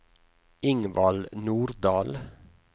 Ingvald Nordal